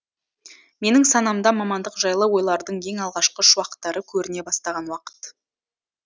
менің санамда мамандық жайлы ойлардың ең алғашқы шуақтары көріне бастаған уақыт